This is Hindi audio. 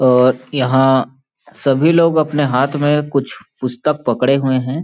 और यहाँ सभी लोग अपने हाथ में कुछ पुस्तक पकड़े हुए हैं ।